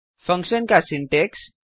फंक्शनका syntax